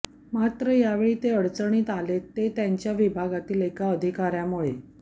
मात्र यावेळी ते अडचणीत आलेत ते त्यांच्या विभागातील एका अधिकाऱ्यामुळे